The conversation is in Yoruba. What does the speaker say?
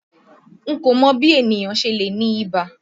N kò mọ bí ènìyàn ṣe lè ní ibà.